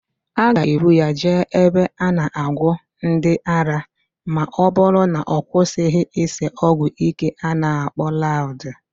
A ga-ebu ya jee ebe a na-agwọ ndị ara ma ọbụrụ na ọ kwụsịghị ịse ọgwụíké a na-akpọ laụd